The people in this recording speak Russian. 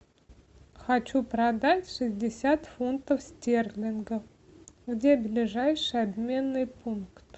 хочу продать шестьдесят фунтов стерлингов где ближайший обменный пункт